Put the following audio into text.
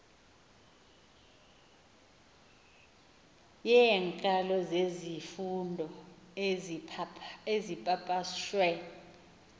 yeenkalo zezifundo ezipapashwe